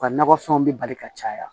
U ka nakɔ fɛnw bɛ bali ka caya